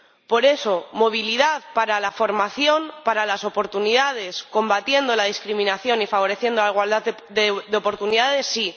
Por eso, movilidad para la formación, para las oportunidades, combatiendo la discriminación y favoreciendo la igualdad de oportunidades, sí.